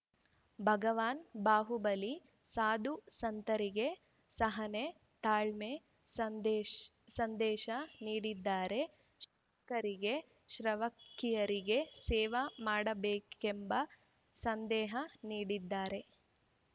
ಭಗವಾನ್ ಬಾಹುಬಲಿ ಸಾಧುಸಂತರಿಗೆ ಸಹನೆ ತಾಳ್ಮೆಯ ಸಂದೇಶ ನೀಡಿದರೆ ಶ್ರಾವಕರಿಗೆ ಶ್ರಾವಕಿಯರಿಗೆ ಸೇವ ಮಾಡಬೇಕೆಂಬ ಸಂದೇಹ ನೀಡಿದ್ದಾರೆ